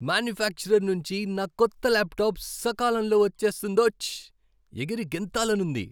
Manufacturer నుంచి నా కొత్త లాప్టాప్ సకాలంలో వచ్చేస్తుందోచ్! ఎగిరి గెంతాలని ఉంది.